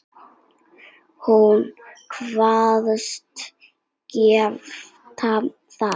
Hún kvaðst geta það.